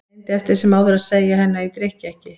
Ég reyndi eftir sem áður að segja henni að ég drykki ekki.